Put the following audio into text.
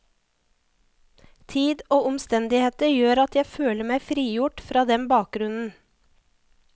Tid og omstendigheter gjør at jeg føler meg frigjort fra den bakgrunnen.